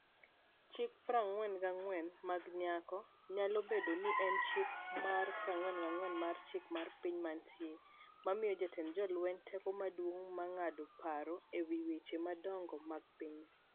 Chik 44 mag Nyako' nyalo bedo ni en Chik mar 44 mar Chik mar Piny Mantie, mamiyo jatend jolweny teko maduong' mar ng'ado paro e wi weche madongo mag piny.